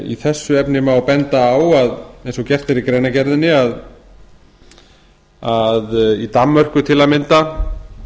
í þessu efni má benda á eins og gert er í greinargerðinni að í danmörku til að mynda